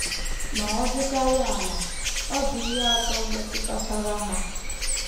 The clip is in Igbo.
Ma ọ dịkarịa ala, ọ dị ihe atọ metụtachara ha.